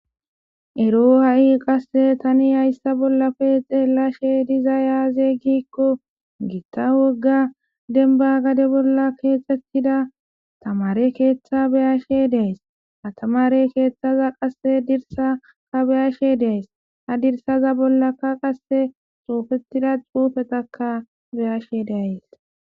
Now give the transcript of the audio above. eroo ha7i qasse tani hayssa bollafe xeellashe diza yaaze giikko giitta wogga denba gade bolla keexxettida tamare keeththa beyashe de'ays atamare keeththaza qasse dirsa ka beyashe de'ays ta dirsaza bollaka qasse xuofetida xuufetaka beyashe de'ays